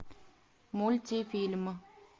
мультфильм